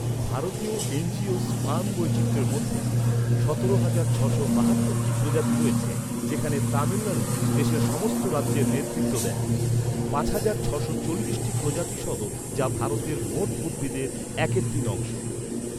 ভারতীয় angiosperm বৈচিত্র্যের মধ্যে সতেরো হাজার ছশো বাহাত্তর টি প্রজাতি রয়েছে যেখানে তামিলনাড়ু দেশের সমস্ত রাজ্যের নেতৃত্ব দেয়, পাঁচ হাজার ছশো চল্লিশটি প্রজাতি সহ যা ভারতের মোট উদ্ভিদের এক তৃতীয়াংশ।